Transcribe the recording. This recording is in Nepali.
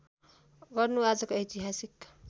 गर्नु आजको ऐतिहासिक